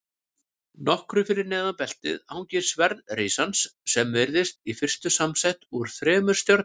Nokkru fyrir neðan beltið hangir sverð risans sem virðist í fyrstu samsett úr þremur stjörnum.